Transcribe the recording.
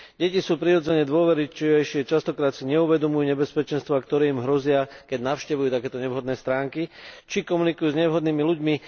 Deti sú prirodzene dôverčivejšie, častokrát si neuvedomujú nebezpečenstvá, ktoré im hrozia, keď navštevujú takéto nevhodné stránky, či komunikujú s nevhodnými ľuďmi.